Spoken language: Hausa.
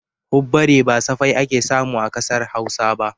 Hubbare ba safai ake samu a ƙasar Hausa ba